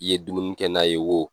I ye dumuni kɛ n'a ye woo.